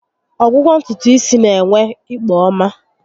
Ọgwụgwọ ntutu isi n'enwe ikpo ọma